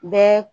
Bɛɛ